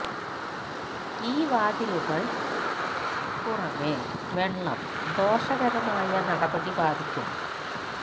ഈ വാതിലുകൾ ന് പുറമേ വെള്ളം ദോഷകരമായ നടപടി ബാധിക്കുന്നു